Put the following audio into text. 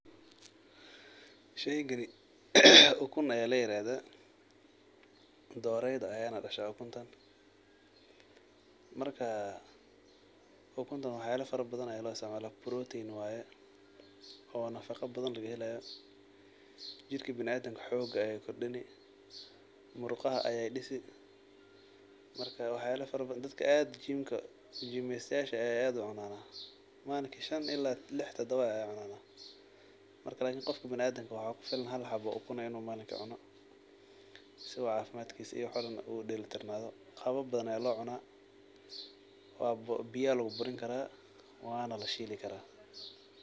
Sheygani ukun aya layirahda doreyda ayan dasha ukunta marka waxyalo fara badan aya loisticmala protein waye oo nafaqo badan lagahela jirka biniadanka xoog badan ayey sini waxyalo badan aya lagaheli marka dadka aad gimestiyasha ah aya aad ucunan oo malinki shan ila lix kacunan lakin qofka biniadanka malinka hal inu cuno aya kufilan sii uu cafimadkisa uu udelitarnad qabab badan aya locuna biyo aya luguburini kara wana lashili kara.